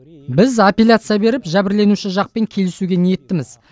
біз аппеляция беріп жәбірленуші жақпен келісуге ниеттіміз